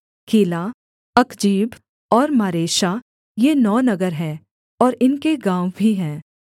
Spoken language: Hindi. कीला अकजीब और मारेशा ये नौ नगर हैं और इनके गाँव भी हैं